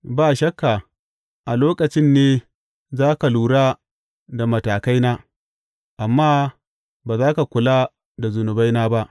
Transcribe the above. Ba shakka a lokacin ne za ka lura da matakaina amma ba za ka kula da zunubaina ba.